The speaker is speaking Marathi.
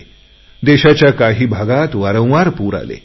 देशाच्या काही भागात वारंवार पूर परिस्थिती आली